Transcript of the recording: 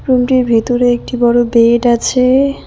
রুমটির ভিতরে একটি বড় বেড আছে।